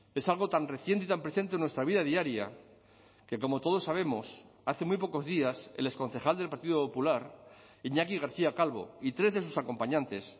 es algo tan reciente y tan presente en nuestra vida diaria que como todos sabemos hace muy pocos días el exconcejal del partido popular iñaki garcía calvo y tres de sus acompañantes